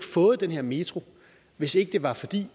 fået den her metro hvis ikke det var fordi